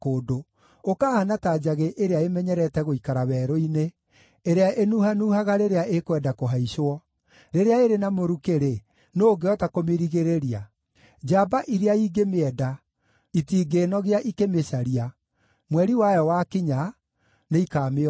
ũkahaana ta njagĩ ĩrĩa ĩmenyerete gũikara werũ-inĩ, ĩrĩa ĩnuhanuhaga rĩrĩa ĩkwenda kũhaicwo; rĩrĩa ĩrĩ na mũrukĩ-rĩ, nũũ ũngĩhota kũmĩrigĩrĩria? Njamba iria ingĩmĩenda, itingĩĩnogia ikĩmĩcaria; mweri wayo wakinya, nĩikamĩona.